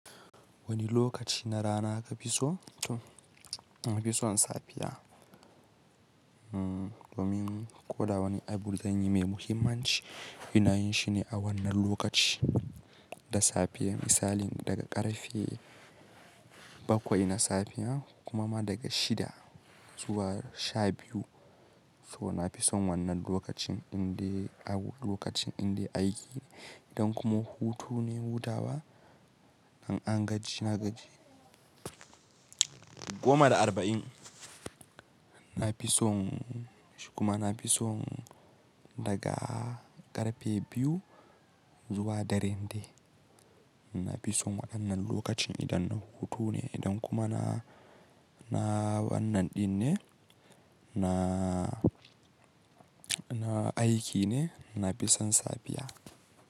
Wani lokaci na rana ka fi so, na fi son safiya, domin ko da wani abu zanyi mai muhimmanci ina yin shi ne a wannan lokaci da safiya misali daga ƙarfe bakwai na safiya kuma ma daga shida zuwa sha biyu. So na fi son wannan lokacin indai ab-- lokacin inda aiki idan kuma hutu ne hutawa, an angaji na gaji goma da arba'in. Na fi son shiku ma na fi son daga ƙarfe biyu zuwa dare nde. Na fi son wannan lokacin idan na hutu ne, idan kuma na, na wannan din ne, na, na aiki ne, na fi son safiya.